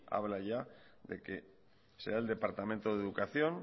habla ya de que será el departamento de educación